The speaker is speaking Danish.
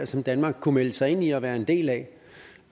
som danmark kunne melde sig ind i og være en del af